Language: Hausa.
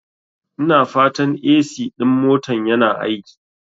Ina fatan AC ɗin motan yana aiki?